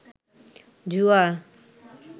জুয়া